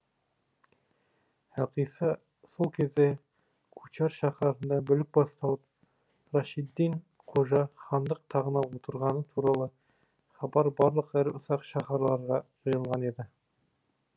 әлқисса сол кезде кучар шаһарында бүлік басталып рашиддин қожа хандық тағына отырғаны туралы хабар барлық ірі ұсақ шаһарларға жайылған еді